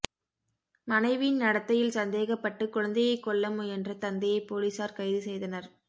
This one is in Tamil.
மனைவியின் நடத்தையில் சந்தேகப்பட்டு குழந்தையை கொல்லமுயன்ற தந்தையை போலீசார் கைது செய்தனர்